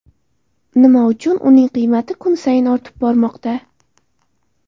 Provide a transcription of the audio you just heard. Nima uchun uning qiymati kun sayin ortib bormoqda?